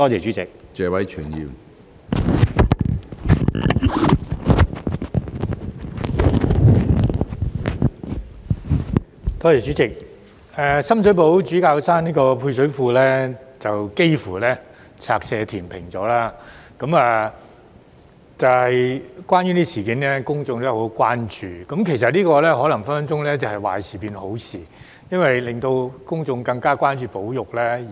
主席，深水埗主教山配水庫幾乎被拆卸填平，有關事件引起公眾極度關注，但這可能是壞事變為好事，因為公眾因而更關注保育。